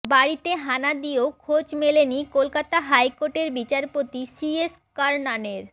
বাড়িতে হানা দিয়েও খোঁজ মেলেনি কলকাতা হাইকোর্টের বিচারপতি সি এস কারনানের